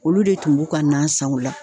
Olu de tun b'u ka nan san o la.